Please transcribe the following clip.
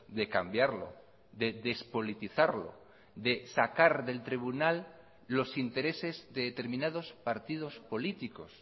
de cambiarlo de despolitizarlo de sacar del tribunal los intereses de determinados partidos políticos